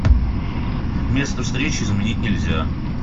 место встречи изменить нельзя